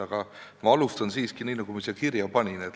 Aga ma alustan siiski nii, nagu ma siia kirja panin.